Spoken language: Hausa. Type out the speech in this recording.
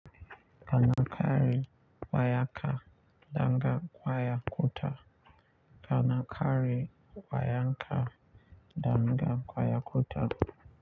Kana ƙare wayanka, danga kwaya kuta. Ana ƙare wayanka, danga kwaya kuta.